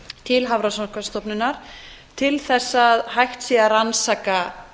til hafrannsóknastofnunar til þess að hægt sé að rannsaka